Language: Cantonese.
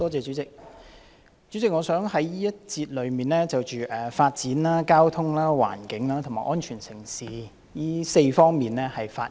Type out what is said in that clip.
代理主席，我想在這個辯論環節中，就發展、交通、環境和安全城市4方面發言。